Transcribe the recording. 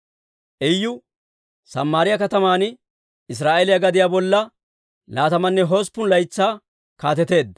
Iyu Samaariyaa kataman Israa'eeliyaa gadiyaa bolla laatamanne hosppun laytsaa kaateteedda.